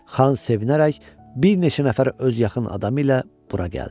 Xan sevinərək bir neçə nəfər öz yaxın adamı ilə bura gəldi.